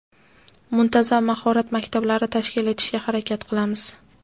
muntazam mahorat maktablari tashkil etishga harakat qilamiz.